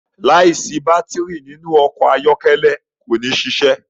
láì sí Bátìrì nínú ọkọ̀ ayọ́kẹ́lẹ́ kò ní ṣiṣẹ.